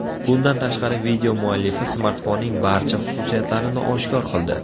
Bundan tashqari, video muallifi smartfonning barcha xususiyatlarini oshkor qildi.